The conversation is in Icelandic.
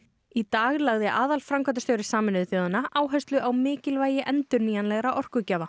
í dag lagði aðalframkvæmdastjóri Sameinuðu þjóðanna áherslu á mikilvægi endurnýjanlegra orkugjafa